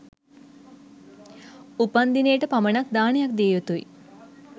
උපන්දිනේට පමනක් දානයක් දියයුතුයි